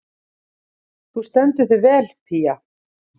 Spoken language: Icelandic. Þú stendur þig vel, Pía!